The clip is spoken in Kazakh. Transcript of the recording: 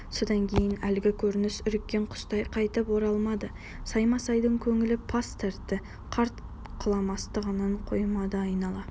содан кейін әлгі көрініс үріккен құстай қайтып оралмады саймасайдың көңілі пәс тартты қар қыламықтағанын қоймады айнала